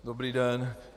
Dobrý den.